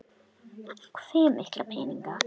Þulur: Hve mikla peninga?